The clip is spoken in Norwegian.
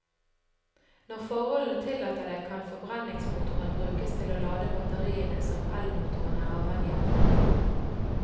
Når forholdene tillater det, kan forbrenningsmotoren brukes til å lade batteriene som elmotoren er avhengig av.